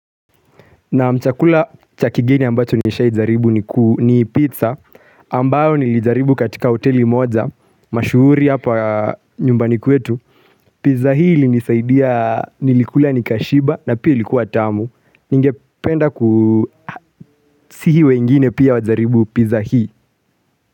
Naam, chakula cha kigeni ambacho nishaijaribu ni pizza, ambayo nilijaribu katika hoteli moja, mashuhuri hapa nyumbani kwetu. Pizza hii ilinisaidia nilikula nikashiba na pia ilikuwa tamu. Ningependa kusihi wengine pia wajaribu pizza hii.